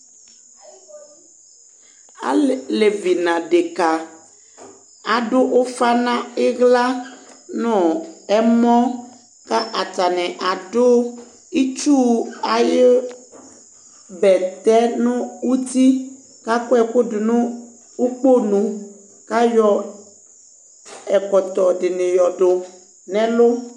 Alévi nă ădeka adu ufa ni ihla nu ɛmɔ ka atini adu itchu ayé bɛtɛ nu uti ka akɔ ɛku dunu ikponu ka yɔ ɛkɔtɔ dini yɔ du nɛlu